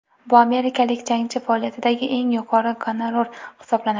Bu amerikalik jangchi faoliyatidagi eng yuqori gonorar hisoblanadi.